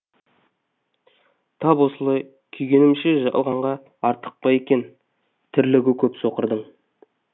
тап осылай күйгенімше жалғанға артық па екен тірлігі көр соқырдың